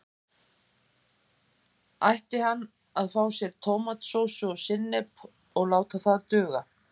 Ætti hann að fá sér tómatsósu og sinnep og láta það duga?